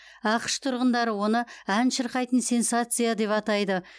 ақш тұрғындары оны ән шырқайтын сенсация деп атайды